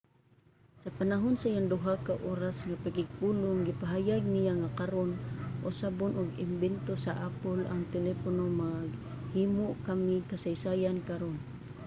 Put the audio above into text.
sa panahon sa iyang duha ka oras nga pakigpulong gipahayag niya nga karon usabon og imbento sa apple ang telepono maghimo kami kasaysayan karon